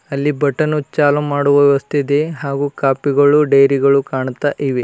ಅಲ್ಲಿ ಬಟನ್ ಚಾಲೂ ಮಾಡುವ ವ್ಯವಸ್ಥೆ ಇದೆ ಹಾಗೂ ಕಾಪಿ ಗಳು ಡೈರಿ ಗಳು ಕಾಣುತ್ತಾ ಇದೆ.